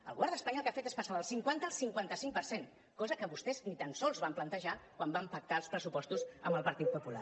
el govern d’espanya el que ha fet és passar del cinquanta al cinquanta cinc per cent cosa que vostès ni tan sols van plantejar quan van pactar els pressupostos amb el partit popular